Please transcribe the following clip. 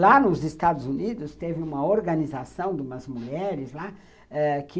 Lá nos Estados Unidos teve uma organização de umas mulheres lá ãh que